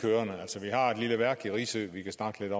kørende altså vi har et lille værk på risø vi kan snakke